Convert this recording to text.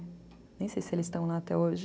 Nem sei se eles estão lá até hoje.